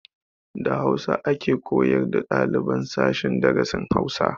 Da hausa ake koyar da ɗaliban sashen darasin Hausa